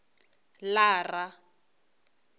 lara